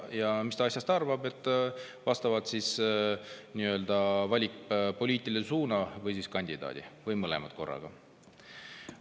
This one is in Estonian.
Ja vastavalt sellele, mis ta asjast arvab, ta valib poliitilise suuna või kandidaadi või mõlemad korraga.